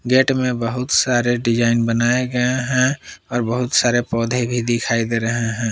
Gate में बहुत सारे डिजाइन बनाए गए हैं और बहुत सारे पौधे भी दिखाई दे रहे हैं।